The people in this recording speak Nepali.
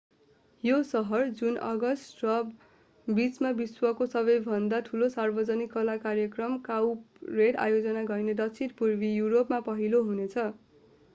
यो सहर जुन र अगस्तको बिचमा विश्वको सबैभन्दा ठूलो सार्वजनिक कला कार्यक्रम काउपरेड आयोजना गर्ने दक्षिण पूर्वी यूरोपमा पहिलो हुनेछ